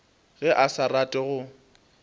ge a sa rate go